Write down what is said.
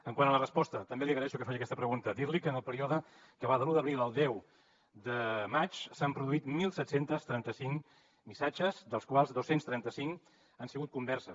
quant a la resposta també li agraeixo que faci aquesta pregunta dir li que en el període que va de l’un d’abril al deu de maig s’han produït disset trenta cinc missatges dels quals dos cents i trenta cinc han sigut converses